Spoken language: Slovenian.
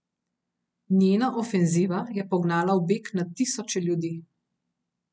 Njena ofenziva je pognala v beg na tisoče ljudi.